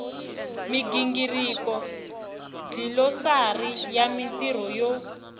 migingiriko dlilosari ya marito yo